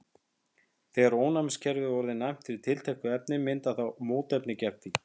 þegar ónæmiskerfið er orðið næmt fyrir tilteknu efni myndar það mótefni gegn því